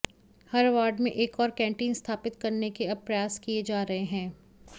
हर ward में एक और कैंटीन स्थापित करने के अब प्रयास किए जा रहे हैं